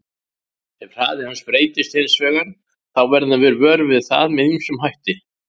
Ef hraði hans breytist hins vegar þá verðum við vör við það með ýmsum hætti.